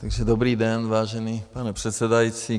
Takže dobrý den, vážený pane předsedající.